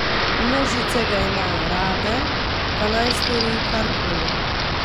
Množice ga imajo rade, pa naj stori karkoli.